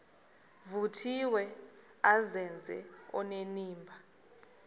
vuthiwe azenze onenimba